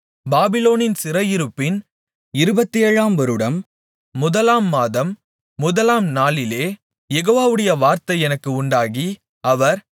பாபிலோனின் சிறையிருப்பின் இருபத்தேழாம்வருடம் முதலாம் மாதம் முதலாம் நாளிலே யெகோவாவுடைய வார்த்தை எனக்கு உண்டாகி அவர்